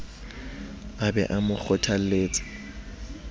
a be a mo kgothaletse